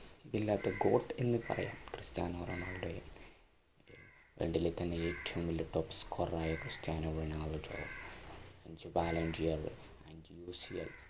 ഇതില്ലാത്ത court എന്ന് പറയാം ക്രിസ്റ്റാനോറൊണാൾഡോയെ ഏറ്റവും വലിയ top score ർ ആയ ക്രിസ്റ്റാനോറൊണാൾഡ